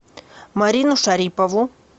марину шарипову